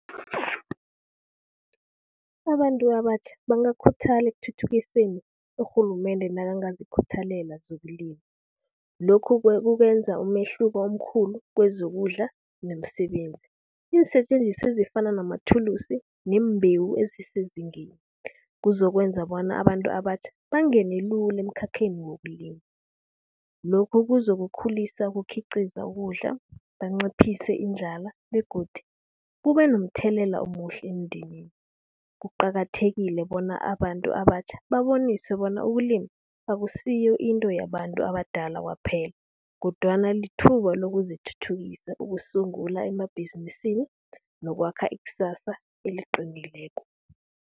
Abantu abatjha bangakhuthala ekuthuthukiseni urhulumende nakangazikhuthalele zokulima. Lokhu kukwenza umehluko omkhulu kwezokudla nomsebenzi. Iinsetjenziswa ezifana namathulusi neembewu ezisezingeni. Kuzokwenza bona abantu abatjha bangene lula emkhakheni wokulima. Lokhu kuzokukhulisa ukukhiqiza ukudla, banciphise indlala begodu kube nomthelela omuhle emndenini. Kuqakathekile bona abantu abatjha baboniswe bona ukulima, akusiyo into yabantu abadala kwaphela kodwana lithuba lokuzithuthukisa ukusungula emabhizinisi nokwakha iksasa eliqinileko.